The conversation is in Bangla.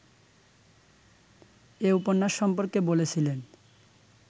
এ উপন্যাস সম্পর্কে বলেছিলেন